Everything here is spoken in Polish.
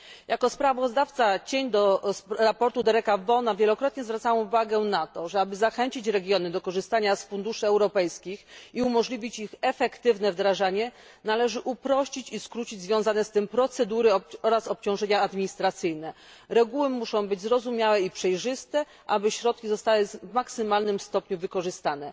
Jako kontrsprawozdawczyni sprawozdania Dereka Vaughana wielokrotnie zwracałam uwagę na to, że aby zachęcić regiony do korzystania z funduszy europejskich i umożliwić ich efektywne wdrażanie, należy uprościć i skrócić związane z tym procedury oraz obciążenia administracyjne. Reguły muszą być zrozumiałe i przejrzyste, aby środki zostały w maksymalnym stopniu wykorzystane.